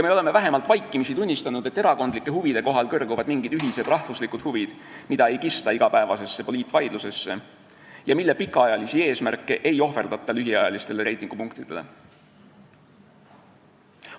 Me oleme vähemalt vaikimisi tunnistanud, et erakondlike huvide kohal kõrguvad mingid ühised rahvuslikud huvid, mida ei kista igapäevasesse poliitvaidlusesse ja mille pikaajalisi eesmärke ei ohverdata lühiajalistele reitingupunktidele.